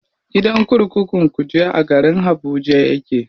Gidan kurkukun kuje a garin habuja yake.